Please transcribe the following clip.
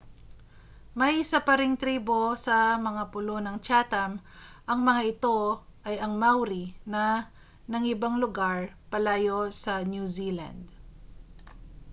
may isa pa ring tribo sa mga pulo ng chatham ang mga ito ay ang maori na nangibang lugar palayo sa new zealand